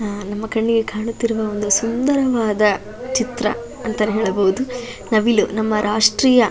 ಅಹ್ ನಮ್ಮ ಕಣ್ಣಿಗೆ ಕಾಣುತ್ತಿರುವಂತ ಒಂದು ಸುಂದರವಾದ ಚಿತ್ರ ಅಂತ ಹೇಳಬಹುದು ನವಿಲು ನಮ್ಮ ರಾಷ್ಟ್ರೀಯ --